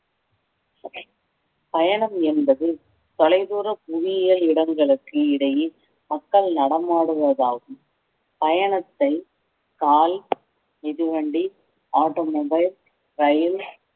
பயணம் என்பது தொலைதூர புவியியல் இடங்களுக்கு இடையே மக்கள் நடமாடுவதாகும் பயணத்தை கால் மிதிவண்டி ஆட்டோ மொபைல் ரயில்